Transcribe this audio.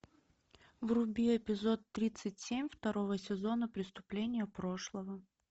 вруби эпизод тридцать семь второго сезона преступления прошлого